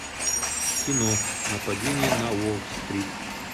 кино нападение на уолл стрит